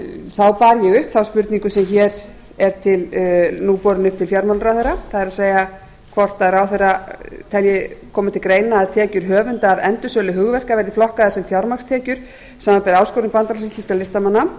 þá bar ég upp þá spurningu sem er nú borin upp til fjármálaráðherra það er hvort ráðherra telji koma til greina að tekjur höfunda af endursölu hugverka verði flokkaðar sem fjármagnstekjur samanber áskorun bandalags íslenskra listamanna